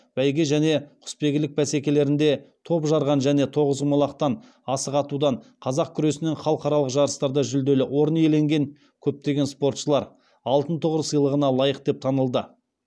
бәйге мен құсбегілік бәсекелерінде топ жарған және тоғызқұмалақтан асық атудан қазақ күресінен халықаралық жарыстарда жүлделі орын иеленген көптеген спортшылар алтын тұғыр сыйлығына лайық деп танылды